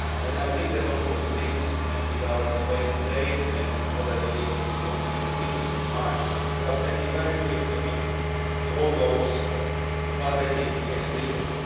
I also think that with this and with our debate today, and what I believe will be a positive decision in March, we are sending very clear signals to all those who are betting against the euro.